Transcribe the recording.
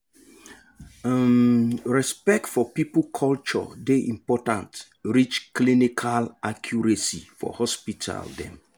um respect for people culture dey important reach clinical accuracy for hospital dem